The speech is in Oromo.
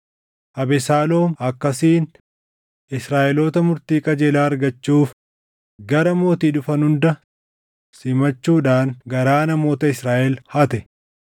Abesaaloom akkasiin Israaʼeloota murtii qajeelaa argachuuf gara mootii dhufan hunda simachuudhaan garaa namoota Israaʼel hate.